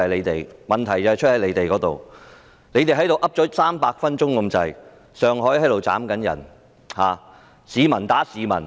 他們在這裏說了接近300分鐘，上水正有人斬人、市民打市民。